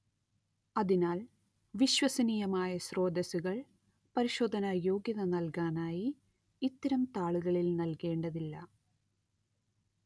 അതിനാൽ വിശ്വസനീയമായ സ്രോതസ്സുകൾ പരിശോധനായോഗ്യത നൽകാനായി ഇത്തരം താളുകളിൽ നൽകേണ്ടതില്ല